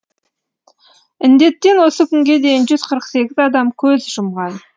індеттен осы күнге дейін жүз қырық сегіз адам көз жұмған